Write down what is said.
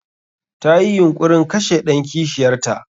Tayi yunƙurin kashe ɗan kishiyar ta.